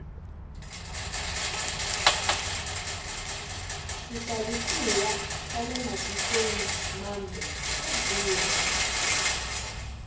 swixavisiwa swale matikweni mambe swa durha